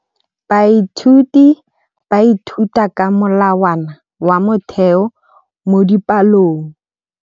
Baithuti ba ithuta ka molawana wa motheo mo dipalong.